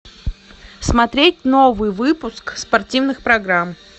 смотреть новый выпуск спортивных программ